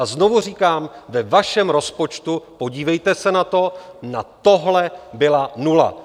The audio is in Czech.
A znovu říkám, že vašem rozpočtu, podívejte se na to, na tohle byla nula.